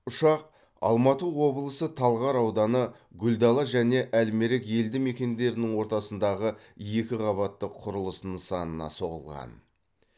ұшақ алматы облысы талғар ауданы гүлдала және әл мерек елді мекендерінің ортасындағы екіқабатты құрылыс нысанына соғылған